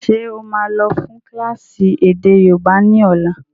Ṣé ó máa lọ fún kílásì èdè yóòbá ni ọ̀la?